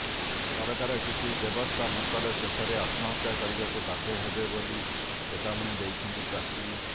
ସରକାର କିଛି ବ୍ୟବସ୍ତା ନକଲେ ଶେଷରେ ଆତ୍ମହତ୍ୟା କରିବାକୁ ବାଧ୍ୟ ହେବେ ବୋଲି ଚେତାବନୀ ଦେଇଛନ୍ତି ଚାଷୀ